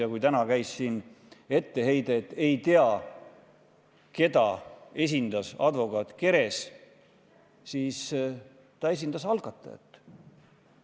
Ja kui täna kõlas etteheide, et ei tea, keda esindas advokaat Keres, siis ma selgitan, et ta esindas algatajat.